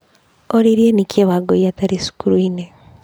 Oririe nĩkĩĩ Wangũi atarĩ cukuru-inĩ.